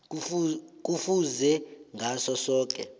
kufuze ngaso soke